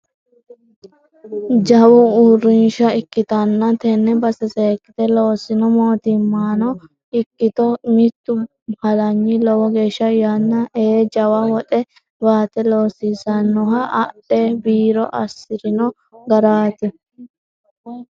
Jawa uurrinsha ikkittanna tene base seekkite loosino mootimmano ikkitto mitu halanyi lowo geeshsha yanna ee jawa woxe baate loosisinoha adhe biiro assirino garati.